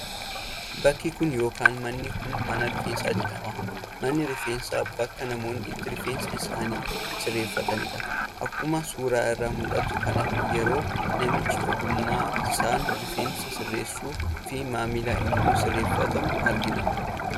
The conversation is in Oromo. Bakki kun yookaan manni kun mana rifeensaa jedhama. Manni rifeensaa bakka namoonni itti rifeensa isaanii sirreeffatanidha. Akkuma suuraa irraa mul'atu kanatti yeroo namichi ogummaa isaan rifeensa sirreessuu fi maamilli immoo sirreeffatu argina.